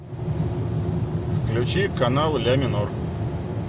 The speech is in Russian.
включи канал ля минор